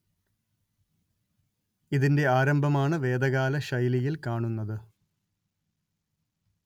ഇതിന്റെ ആരംഭമാണ് വേദകാല ശൈലിയിൽ കാണുന്നത്